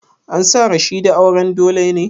An sa Rashida auren dole ne?